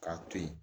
K'a to yen